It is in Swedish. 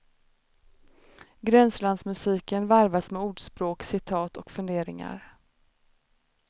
Gränslandsmusiken varvas med ordspråk, citat och funderingar.